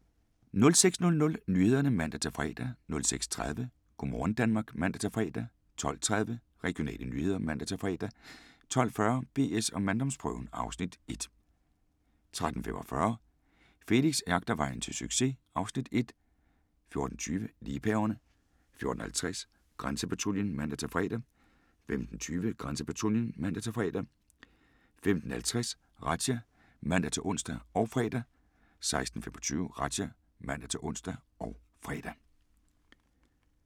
06:00: Nyhederne (man-fre) 06:30: Go' morgen Danmark (man-fre) 12:30: Regionale nyheder (man-fre) 12:40: BS & manddomsprøven (Afs. 1) 13:25: Felix jagter vejen til succes (Afs. 1) 14:20: Liebhaverne 14:50: Grænsepatruljen (man-fre) 15:20: Grænsepatruljen (man-fre) 15:50: Razzia (man-ons og fre) 16:25: Razzia (man-ons og fre)